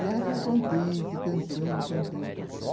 E ela ficou contente, cantando, cantando.